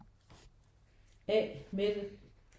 A Mette